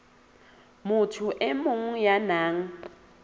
motho e mong ya nang